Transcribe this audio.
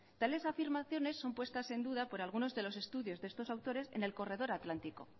tales afirmaciones son puestas en duda por algunos de los estudios de estos autores en el corredor atlántico